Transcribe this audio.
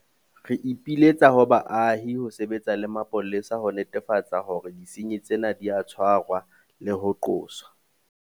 Re ipiletsa ho baahi ho sebetsa le mapolesa ho netefatsa hore disenyi tsena di a tshwarwa le ho qoswa.